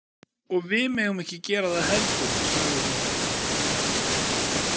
Og við megum ekki gera það heldur, sagði hún.